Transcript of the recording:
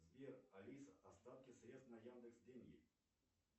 сбер алиса остатки средств на яндекс деньги